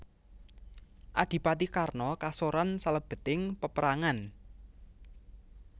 Adipati Karna kasoran salebeting paperangan